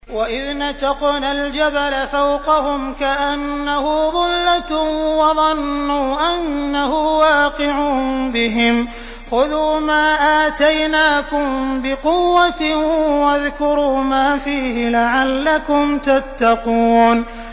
۞ وَإِذْ نَتَقْنَا الْجَبَلَ فَوْقَهُمْ كَأَنَّهُ ظُلَّةٌ وَظَنُّوا أَنَّهُ وَاقِعٌ بِهِمْ خُذُوا مَا آتَيْنَاكُم بِقُوَّةٍ وَاذْكُرُوا مَا فِيهِ لَعَلَّكُمْ تَتَّقُونَ